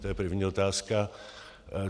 To je první otázka.